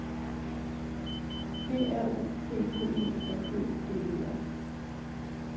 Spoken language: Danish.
G R U P P E M Ø D E R